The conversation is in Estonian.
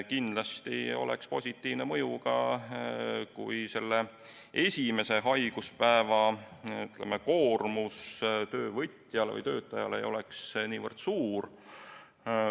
Kindlasti oleks positiivne mõju ka sellel, kui esimese haiguspäeva koormus töövõtjale või töötajale ei oleks niivõrd suur.